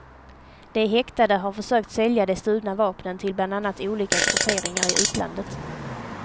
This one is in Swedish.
De häktade har försökt sälja de stulna vapnen till bland annat olika grupperingar i utlandet.